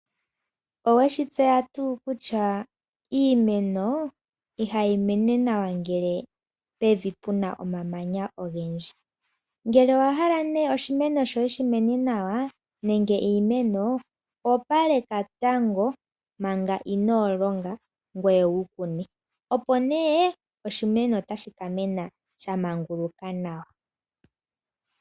Oweshi tseya tuu kutya iimeno ihayi mene nawa ngele pevi puna omamanya ogendji. Ngele owa hala nee oshimeno shoye shi mene nawa nenge iimeno opaleka tango manga inoo longa ngoye wukune. Opo nee oshimeno otashi ka mena sha manguluka nawa.